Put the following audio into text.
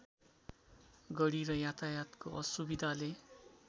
गढी र यातायातको असुविधाले